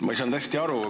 Ma ei saanud hästi aru.